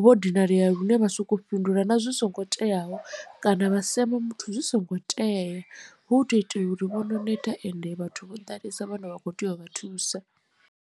vho dinalea lune vha soko fhindula na zwi songo teaho kana vha sema muthu zwi songo tea hu u to itela uri vho no neta ende vhathu vho ḓalesa vhone vha kho tea u vha thusa.